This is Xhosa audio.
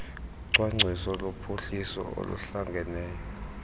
ucwangciso lophuhliso oluhlangeneyo